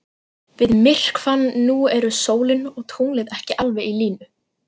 Við myrkvann nú eru sólin og tunglið ekki alveg í línu.